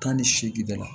Tan ni seegin de la